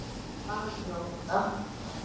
Bara njóta.